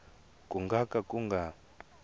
ku nga ka ku nga